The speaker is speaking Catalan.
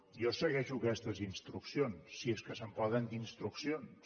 jo segueixo aquestes instruccions si és que se’n poden dir instruccions